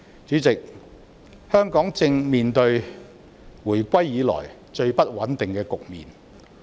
主席，香港正面對回歸以來最不穩定的局面。